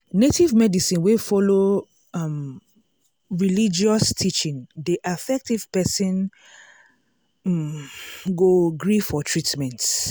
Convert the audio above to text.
native medicine wey follow um religious teaching dey affect if person um go gree for treatment.